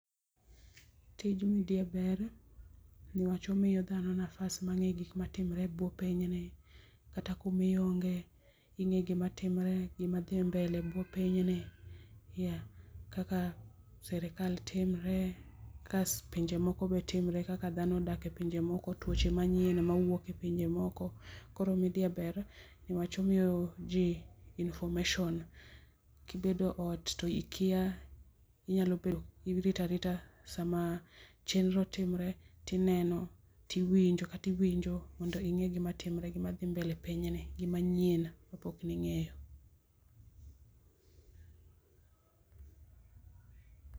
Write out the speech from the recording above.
Tij media ber niwach omiyo dhano nafas mar nge gikma timore e buo pinyni kata kuma ionge ingeyo gima timre gima dhi mbele e buo piny ni yeah, kaka serikal timre kas pinje moko be timre kaka dhno odak e pinje moko, tuoche manyien mawuok e pinje moko. Koro media ber nikech omiyo jii information Kibedo ot to ikia inyalo bedo irito arita sama chenro timore tineno tiwinjo kata iwinjo mondo inge gima timre gima dhi mbele e pinyni gima nyien mapok ningeyo